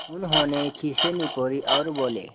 उन्होंने खीसें निपोरीं और बोले